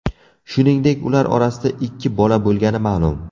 Shuningdek, ular orasida ikki bola bo‘lgani ma’lum.